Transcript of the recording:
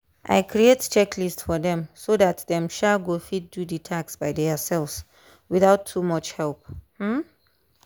i create checklist for dem so dat dem um go fit do the task by theirselves without too much help. um